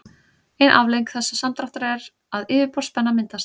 ein afleiðing þessa samdráttar er að yfirborðsspenna myndast